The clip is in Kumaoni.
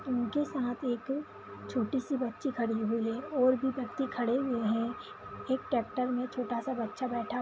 इनके साथ एक छोटी सी बच्ची खड़ी हुई है और भी व्यक्ति खड़े हुए हैं एक ट्रैक्टर में छोटा सा बच्चा बैठा --